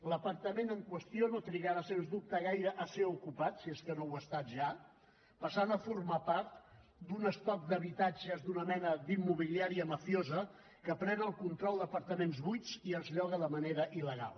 l’apartament en qüestió no trigarà sens dubte gaire a ser ocupat si és que no ho ha estat ja passant a formar part d’un estoc d’habitatges d’una mena d’immobiliària mafiosa que pren el control d’apartaments buits i els lloga de manera il·legal